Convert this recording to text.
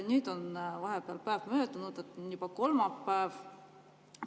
Nüüd on vahepeal päev möödunud, on juba kolmapäev.